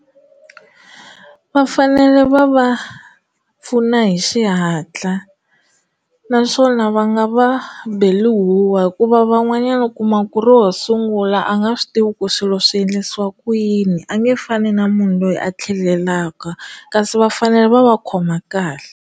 Va fanele va va pfuna hi xihatla naswona va nga va beli huwa hikuva van'wanyana u kuma ku ro sungula a nga swi tivi ku swilo swi endlisiwa ku yini a nge fani na munhu loyi a tlhelelaka kasi va fanele va va khoma kahle.